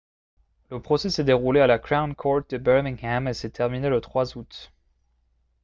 le procès s'est déroulé à la crown court de birmingham et s'est terminé le 3 août